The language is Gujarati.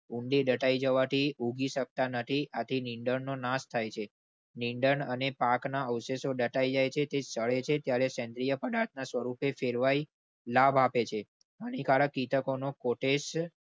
ઊંડી દટાઈ જવાથી ઉગી શકતા નથી. આથી નિંદણનો નાશ થાય છે નીંદણ અને પાકના અવશેષો દટાઈ જાય છે. જ્યારે સેન્દ્રિય પદાર્થ સ્વરૂપે ફેરવાઈ લાભ આપે છે. હાનિકારક કીટકોના કોટેજ.